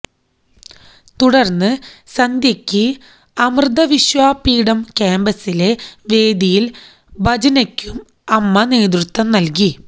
തുടര്ന്ന് സന്ധ്യയ്ക്ക് അമൃതവിശ്വവിദ്യാപീഠം കാമ്പസിലെ വേദിയില് ഭജനയ്ക്കും അമ്മ നേതൃത്വം നല്കി